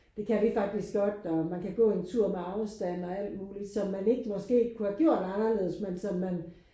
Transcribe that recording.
Det kan vi faktisk godt og man kan gå en tur med afstand og alt muligt som man ikke måske kunne have gjort anderledes men som man